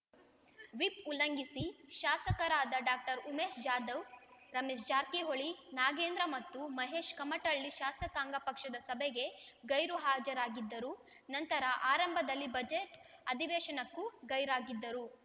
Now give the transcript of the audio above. whip ಉಲ್ಲಂಘಿಸಿ ಶಾಸಕರಾದ doctor Umesh Jadhav Ramesh Jarkiholi Nagendra ಮತ್ತು ಮಹೇಶ್ ಕಮಟಳ್ಳಿ ಶಾಸಕಾಂಗ ಪಕ್ಷದ ಸಭೆಗೆ ಗೈರು ಹಾಜರಾಗಿದ್ದರು ನಂತರ ಆರಂಭದಲ್ಲಿ ಬಜೆಟ್ ಅಧಿವೇಶನಕ್ಕೂ ಗೈರಾಗಿದ್ದರು